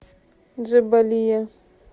джебалия